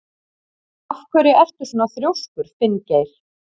Af hverju ertu svona þrjóskur, Finngeir?